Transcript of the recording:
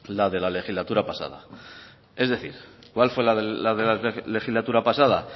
la de la legislatura pasada es decir cuál fue la de la legislatura pasada